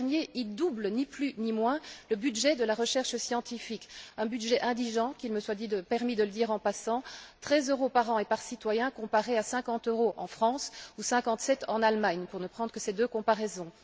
Ce dernier permet de doubler, ni plus ni moins, le budget de la recherche scientifique un budget indigent, qu'il me soit permis de le dire en passant treize euros par an et par citoyen, comparé à cinquante euros en France ou cinquante sept euros en Allemagne, pour ne prendre que ces deux comparaisons.